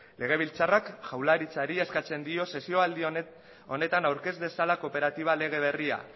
legebiltzarrak jaurlaritzari eskatzen dio sesioaldi honetan aurkez dezala kooperatiba lege berria